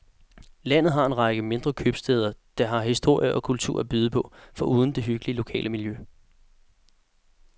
Landet har en række mindre købstæder, der har historie og kultur at byde på, foruden det hyggelige lokale miljø.